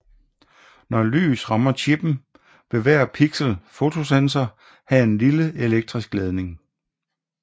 Når lys rammer chippen vil hver pixel fotosensor have en lille elektrisk ladning